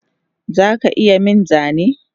Zaka iya min Zane?